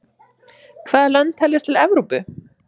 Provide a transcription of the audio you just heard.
Hvaða lönd teljast til Evrópu?